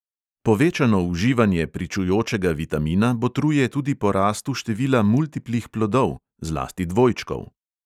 Povečano uživanje pričujočega vitamina botruje tudi porastu števila multiplih plodov – zlasti dvojčkov.